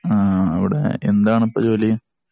ആ അവിടെ എന്താണ് ഇപ്പോ ജോലി?